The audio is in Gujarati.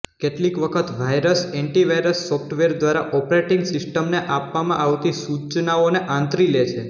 કેટલીક વખત વાઈરસ એન્ટી વાઈરસ સોફ્ટવેર દ્વારા ઓપરેટિંગ સિસ્ટમને આપવામાં આવતી સુચનાઓને આંતરી લે છે